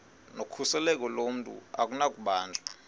nokhuseleko lomntu akunakubanjwa